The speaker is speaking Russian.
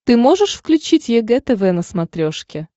ты можешь включить егэ тв на смотрешке